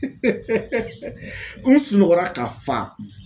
ko n sunɔgɔra ka fa